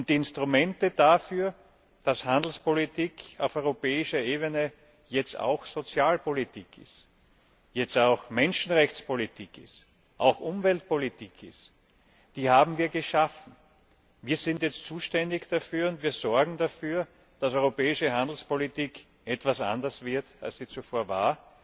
Die Instrumente dafür, dass Handelspolitik auf europäischer Ebene jetzt auch Sozialpolitik, auch Menschenrechtspolitik ist, auch Umweltpolitik ist, haben wir geschaffen. Wir sind jetzt zuständig dafür, und wir sorgen dafür, dass europäische Handelspolitik etwas anders wird, als sie zuvor war.